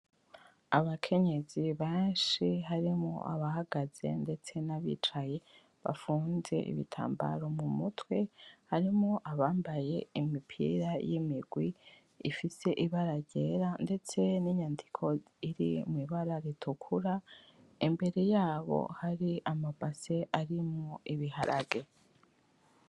Abakenyezi benshi harimwo abahagaze ndetse nabicaye bafunze ibitambaro mumutwe harimwo abambaye imipira y'imigwi ifise ibara ryera ndetse n'inyandiko iri mwibara ritukura imbere yabo hari amabase arimwo ibiharage.